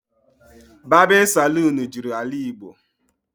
Babin Salon juru AlaIgbo